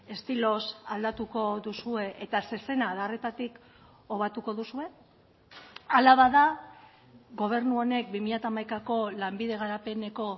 estiloz aldatuko duzue eta zezena adarretatik obatuko duzue hala bada gobernu honek bi mila hamaikako lanbide garapeneko